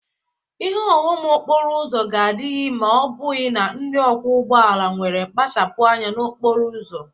Ihe ụghọm okporo ụzọ ga-adịghịde ma ọ bụghị na ndị ọkwọ ụgbọ ala nwere mpachapụ anya n'okporo ụzọ.